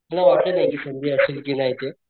मला वाटलं नाही कि संधी असेल कि नाही ते.